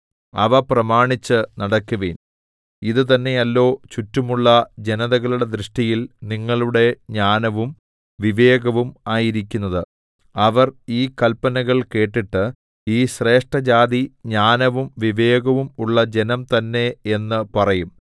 അവ പ്രമാണിച്ച് നടക്കുവിൻ ഇത് തന്നെയല്ലോ ചുറ്റുമുള്ള ജനതകളുടെ ദൃഷ്ടിയിൽ നിങ്ങളുടെ ജ്ഞാനവും വിവേകവും ആയിരിക്കുന്നത് അവർ ഈ കല്പനകൾ കേട്ടിട്ട് ഈ ശ്രേഷ്ഠജാതി ജ്ഞാനവും വിവേകവും ഉള്ള ജനം തന്നെ എന്ന് പറയും